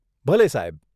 ભલે સાહેબ.